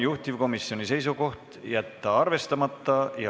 Juhtivkomisjoni seisukoht: jätta see arvestamata.